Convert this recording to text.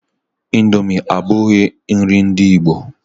Índomi abughi nri ndị ìgbo.